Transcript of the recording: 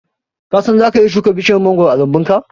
Ka san zaka iya shuka bishiyar mangoro a lambunka?